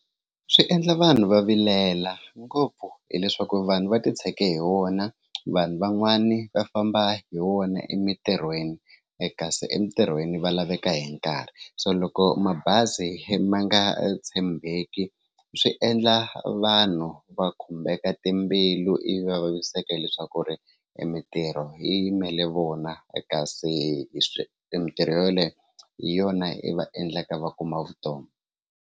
Swi endla vanhu va vilela ngopfu hileswaku vanhu va titshege hi wona vanhu van'wani va famba hi wona emitirhweni kasi emitirhweni va laveka hi nkarhi so loko mabazi ma nga tshembeki swi endla vanhu va khumbeka timbilu ivi va vaviseke leswaku ri i mintirho yi yimele vona kasi i mintirho yoleyo hi yona yi va endlaka va kuma vutomi.